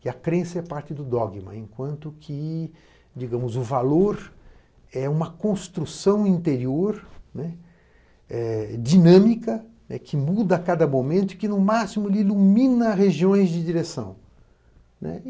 Que a crença é parte do dogma, enquanto que, digamos, o valor é uma construção interior dinâmica, que muda a cada momento e que, no máximo, ilumina regiões de direção.